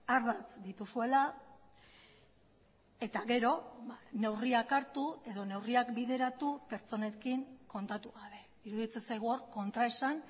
ardatz dituzuela eta gero neurriak hartu edo neurriak bideratu pertsonekin kontatu gabe iruditzen zaigu kontraesan